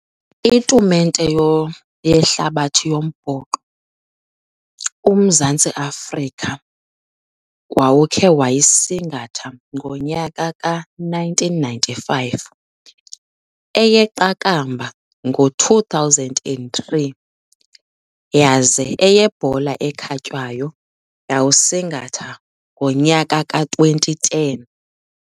Itumente yehlabathi yombhoxo uMzantsi Afrika wawukhe wayisingatha ngonyaka ka-nineteen ninety-five. Eyeqakamba ngo-two thousand and three, yaze eyebhola ekhatywayo yawusingatha ngonyaka ka-twenty ten.